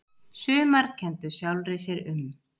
Sumar kenndu sjálfri sér um